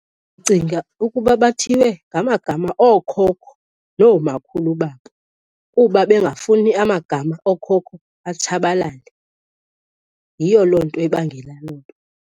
Ndicinga ukuba bathiywe ngamagama ookhokho nomakhulu babo kuba bengafuni amagama ookhokho atshabalale. Yiyo loo nto ebangela loo nto.